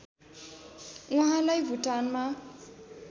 उहाँलाई भुटानमा